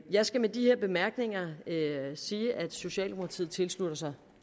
jeg skal med de her bemærkninger sige at socialdemokratiet tilslutter sig